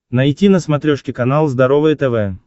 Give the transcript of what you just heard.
найти на смотрешке канал здоровое тв